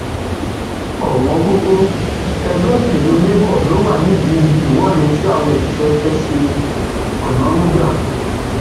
òwòǹgògò ẹgbẹ òṣèlú labour ló wà nídìí ìwọde tí àwọn òṣìṣẹ fẹẹ ṣeonínúgá